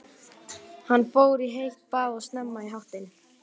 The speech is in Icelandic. Hann fór í heitt bað og snemma í háttinn.